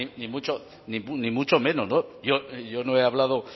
ni mucho menos yo no he hablado